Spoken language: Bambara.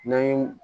Ni